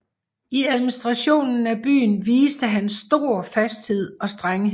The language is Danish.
I administrationen af byen viste han stor fasthed og strenghed